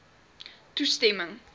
toestemming